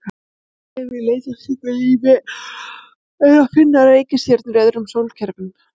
Fyrsta skrefið í leit að slíku lífi er að finna reikistjörnur í öðrum sólkerfum.